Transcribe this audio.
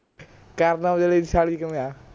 ਕਰਨ ਔਜਲੇ ਦੀ ਸਾਲੀ ਕਿਵੇਂ ਆ